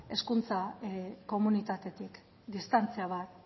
hezkuntza komunitatetik distantzia bat